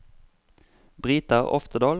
Brita Oftedal